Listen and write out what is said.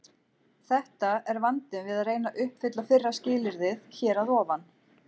Þetta er vandinn við að reyna að uppfylla fyrra skilyrðið hér að ofan.